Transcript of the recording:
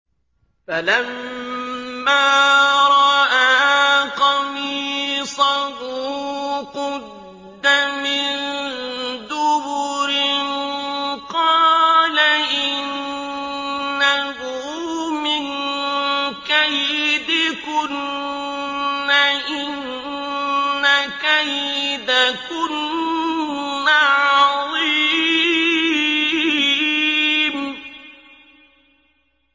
فَلَمَّا رَأَىٰ قَمِيصَهُ قُدَّ مِن دُبُرٍ قَالَ إِنَّهُ مِن كَيْدِكُنَّ ۖ إِنَّ كَيْدَكُنَّ عَظِيمٌ